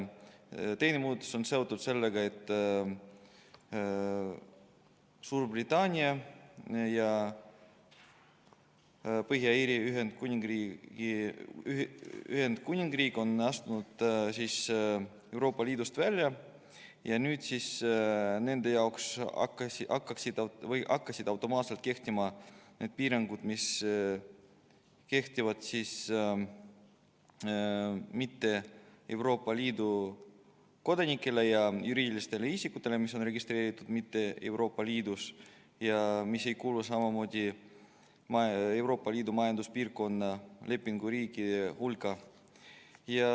Teine muudatus on seotud sellega, et Suurbritannia ja Põhja-Iiri Ühendkuningriik on astunud Euroopa Liidust välja ning nende jaoks hakkasid automaatselt kehtima need piirangud, mis kehtivad neile, kes ei ole Euroopa Liidu kodanikud, ja nendele juriidilistele isikutele, mis on registreeritud mujal kui Euroopa Liidus ja mis ei kuulu ka Euroopa Majanduspiirkonna lepinguriikide hulka.